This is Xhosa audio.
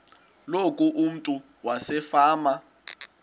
loku umntu wasefama